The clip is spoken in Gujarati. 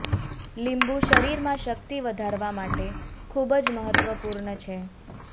લીંબુ શરીરમાં શક્તિ વધારવા માટે ખૂબ જ મહત્વપૂર્ણ છે